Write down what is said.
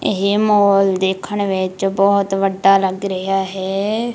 ਇਹ ਮੋਲ ਦੇਖਣ ਵਿੱਚ ਬਹੁਤ ਵੱਡਾ ਲੱਗ ਰਿਹਾ ਹੈ।